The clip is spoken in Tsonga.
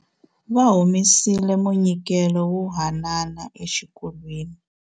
Va humesile munyikelo wo haanana exikolweni.